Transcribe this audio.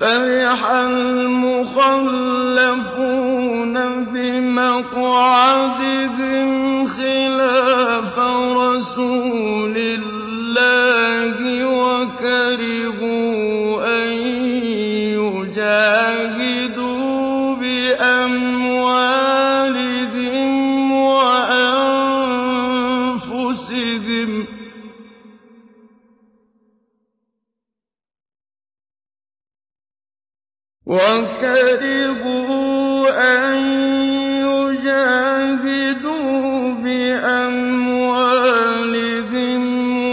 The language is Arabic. فَرِحَ الْمُخَلَّفُونَ بِمَقْعَدِهِمْ خِلَافَ رَسُولِ اللَّهِ وَكَرِهُوا أَن يُجَاهِدُوا بِأَمْوَالِهِمْ